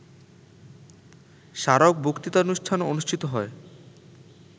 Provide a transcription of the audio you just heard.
স্মারক বক্তৃতানুষ্ঠান অনুষ্ঠিত হয়